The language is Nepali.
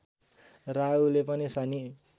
राहुले पनि शनि